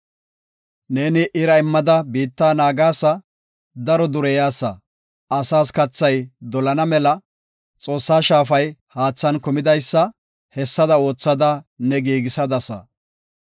Ne ira immada biitta naagasa; daro dureyasa; asaas kathay dolana mela Xoossa shaafay haathan kumidaysa; hessada oothada ne giigisadasa.